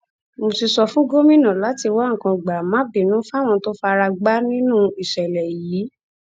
mo ti sọ fún gómìnà láti wá nǹkan gbàmábìínú fáwọn tó fara gbá nínú ìṣẹlẹ yìí